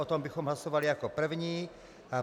O tom bychom hlasovali jako první.